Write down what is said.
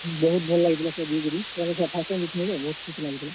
ବହୁତ୍ ଭଲ୍ ଲାଗିଥିଲା ସେନ ଯେଇକରି। କେଁ ହେଲା କି ସେଟା first time ଯେଇଥିଲିଁ ତ, ବହୁତ୍ ଖୁସ୍ ଲାଗୁଥିଲା।